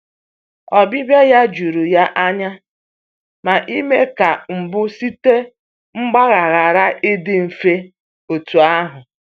Ọbịbịa ya jụrụ ya anya, ma ime ka mgbu site mgbagha ghara ịdị mfe otu ahụ.